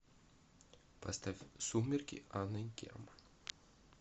поставь сумерки анны герман